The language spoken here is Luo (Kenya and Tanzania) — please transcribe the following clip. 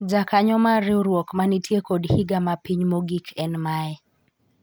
jakanyo mar riwruok ma nitie kod higa mapiny mogik en mae